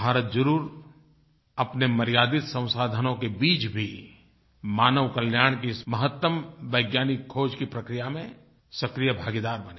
भारत ज़रूर अपने मर्यादित संसाधनों के बीच भी मानव कल्याण की इस महत्तम वैज्ञानिक ख़ोज की प्रक्रिया में सक्रिय भागीदार बनेगा